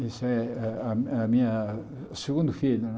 Esse é a a a minha segundo filho.